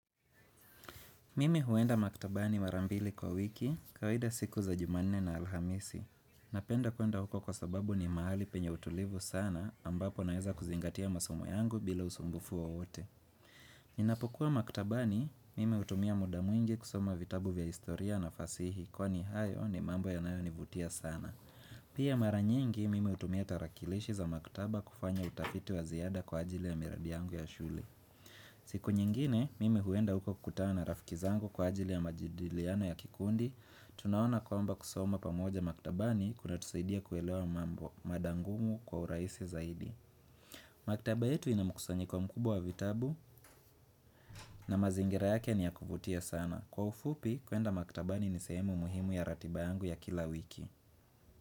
Mimi huenda maktabani mara mbili kwa wiki, kawaida siku za jumanne na alhamisi. Napenda kuenda huko kwa sababu ni mahali penye utulivu sana, ambapo naweza kuzingatia masomo yangu bila usumbufu wowote. Ninapokuwa maktabani, mimi hutumia muda mwingi kusoma vitabu vya historia na fasihi, kwani hayo ni mambo yanayo nivutia sana. Pia mara nyingi, mimi hutumia tarakilishi za maktaba kufanya utafiti wa ziada kwa ajili ya miradi yangu ya shule. Siku nyingine, mimi huenda huko kukutana na rafiki zangu kwa ajili ya majadiliano ya kikundi tunaona kwamba kusoma pamoja maktabani kuna tusaidia kuelewa mambo mada ngumu kwa urahisi zaidi Maktaba yetu inamukusanyiko mkubwa wa vitabu na mazingira yake ni ya kuvutia sana Kwa ufupi, kuenda maktabani ni sehemu muhimu ya ratiba yangu ya kila wiki.